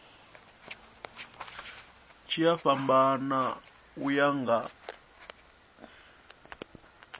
tshi a fhambana uya nga